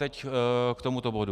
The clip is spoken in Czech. Teď k tomuto bodu.